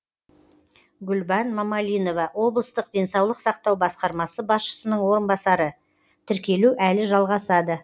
гүлбан мамалинова облыстық денсаулық сақтау басқармасы басшысының орынбасары тіркелу әлі жалғасады